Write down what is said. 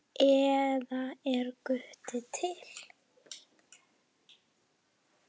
eða Er Guð til?